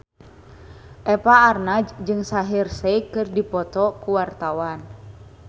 Eva Arnaz jeung Shaheer Sheikh keur dipoto ku wartawan